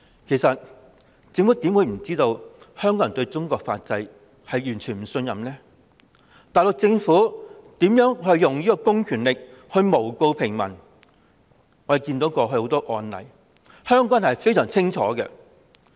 其實政府怎會不知道香港人對中國法制完全不信任，大陸政府以公權力誣告平民的種種案例，香港人也看得非常清楚。